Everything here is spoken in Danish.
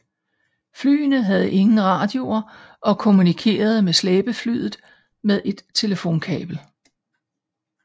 Flyene havde ingen radioer og kommunikerede med slæbeflyet med et telefonkabel